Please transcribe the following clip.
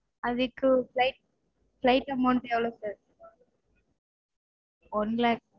அதுக்கு flight flight amount எவ்லொ sir இருக்கும் one lakh